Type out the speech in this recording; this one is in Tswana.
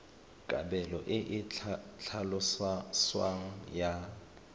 kabelo e e tlhaloswang ya